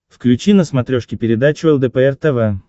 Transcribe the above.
включи на смотрешке передачу лдпр тв